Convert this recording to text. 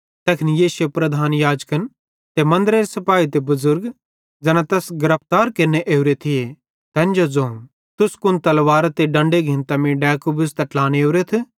तैखन यीशुए प्रधान याजकन ते मन्दरेरे सिपाही ते बुज़ुर्ग ज़ैन तैस गिरफ्तार केरने ओरे थिये तैन जो ज़ोवं तुस कुन तलवारां ते डंडे घिन्तां मीं डैकू बुझ़तां ट्लाने ओरेथ